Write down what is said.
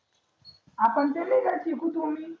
आपण ते नाही का किकु टोमी